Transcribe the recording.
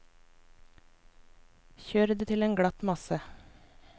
Kjør det til en glatt masse.